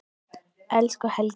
Elsku Helgi.